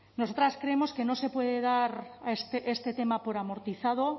nosotras creemos que no se puede dar este tema por amortizado